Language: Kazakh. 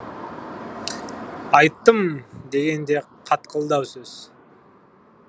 айттым деген де қатқылдау сөз